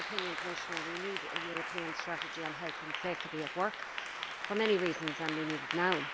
In my opinion, Commissioner, we need a European strategy on health and safety at work for many reasons, and we need it now.